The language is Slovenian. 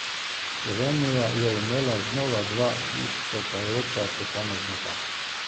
Slovenija je imela znova dva izstopajoča posameznika.